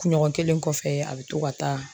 Kunɲɔgɔn kelen kɔfɛ a bɛ to ka taa